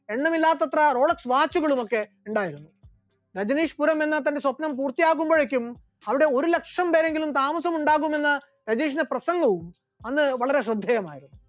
എണ്ണമില്ലാത്തത്ര Rolex watch കളുമൊക്കെ ഉണ്ടായിരുന്നു, രജനീഷ്‌പുരം എന്ന തന്റെ സ്വപ്നം പൂർത്തിയാക്കുമ്പോഴേക്കും അവിടെ ഒരു ലക്ഷം പേരെങ്കിലും താമസമുണ്ടാകുമെന്ന് രജനീഷിന്റെ പ്രസംഗവും അന്ന് വളരെ ശ്രദ്ധേയമായിരുന്നു.